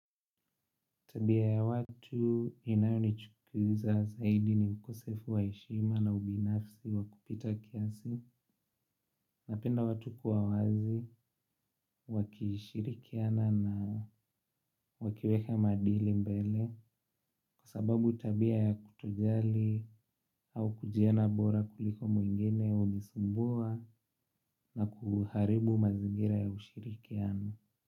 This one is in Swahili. Tabia ya watu inayonichukiza zaidi ni ukosefu wa heshima na ubinafsi wa kupita kiasi napenda watu kua wazi, wakishirikiana na wakiweka maadili mbele kwa sababu tabia ya kutojali au kujiona bora kuliko mwingene hunisumbua na kuharibu mazingira ya ushirikiano.